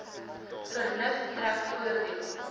vernuf trek voordeel